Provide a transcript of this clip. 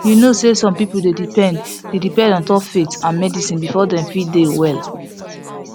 you know say some people dey depend dey depend ontop faith and medicine before dem fit dey well